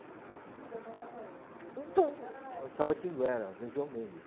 E o senhor morava onde? Em Tabatinguera, no João Mendes.